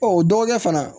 o dɔgɔkɛ fana